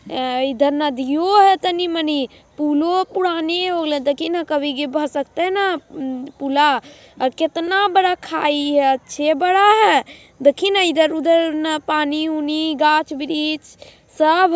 इधर नदियो हे तनी मनी पुलो पुराने हो गेलै देखहि न कभी के भसक तै न पुला केतना बडा खाई हे अच्छे बडा हे देखहि न इधर उधर न पानी उनी गाछ वृक्ष सब--